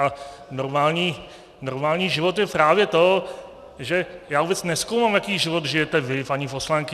A normální život je právě to, že já vůbec nezkoumám, jaký život žijete vy, paní poslankyně.